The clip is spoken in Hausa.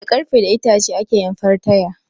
Da Ƙarfe da itace ake yin fartaya